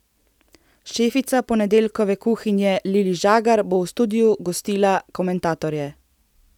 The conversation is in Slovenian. Šefica ponedeljkove kuhinje Lili Žagar bo v studiu gostila komentatorje.